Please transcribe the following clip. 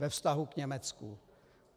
Ve vztahu k Německu.